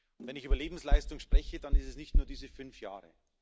Und wenn ich über Lebensleistung spreche, dann sind das nicht nur diese fünf Jahre.